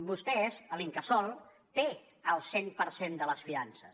vostès l’incasòl té el cent per cent de les fiances